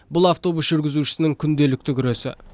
бұл автобус жүргізушісінің күнделікті күресі